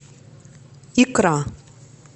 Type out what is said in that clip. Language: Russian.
икра